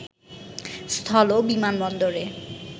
স্থল- বিমানবন্দরে